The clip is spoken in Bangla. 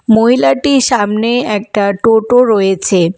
মহিলাটির সামনে একটা টোটো রয়েছে।